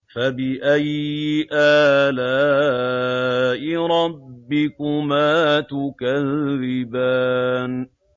فَبِأَيِّ آلَاءِ رَبِّكُمَا تُكَذِّبَانِ